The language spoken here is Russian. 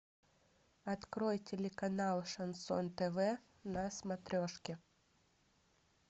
открой телеканал шансон тв на смотрешке